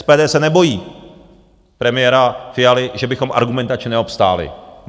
SPD se nebojí premiéra Fialy, že bychom argumentačně neobstáli.